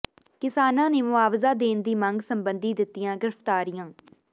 ਕਿਸਾਨਾਂ ਨੇ ਮੁਆਵਜ਼ਾ ਦੇਣ ਦੀ ਮੰਗ ਸਬੰਧੀ ਦਿੱਤੀਆਂ ਗਿ੍ਰਫ਼ਤਾਰੀਆਂ